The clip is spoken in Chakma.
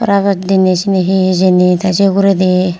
gaj diney cini he hijeni the se uguredi.